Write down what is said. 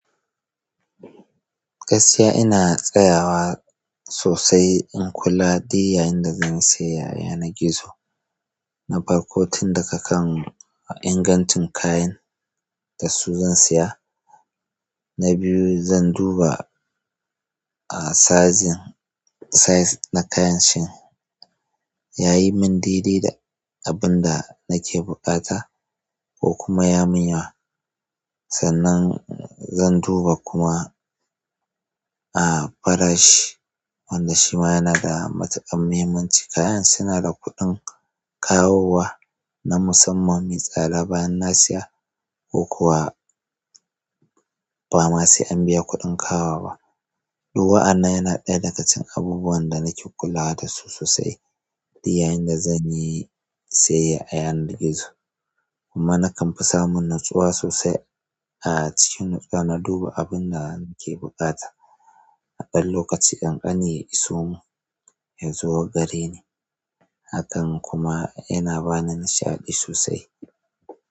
Gaskiya ina tsayawa sossai in kula duk yanda yayin da zanyi siyayya a yanar gizo na farko, tun daga kan ingancin kayan da su zan saya. Na biyu, zan duba a saizin size na kayan shi yayi mun daidai da abin da nake buƙata ko kuma ya mun yawa. Sannan zan duba kuma a farashi wanda shi ma yana da matuƙar muhimmanci. Kayan suna da kuɗin kawowa na musamman, me tsada bayan na siya ko kuwa ba ma sai an biya kuɗin kawowa ba duk wa'annan yana ɗaya daga cikin abubuwan da nake kula dashi sossai duk yayin da zanyi siyayya a yanar gizo kuma nakan kamfi samun nutsuwa sosai a cikin nutsuwa, na duba abin da nake buƙata. A ɗan lokaci ƙanƙani ya isomun ya zo gari ne. Hakan kuma yana bani nishaɗi sosai.